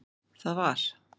Það var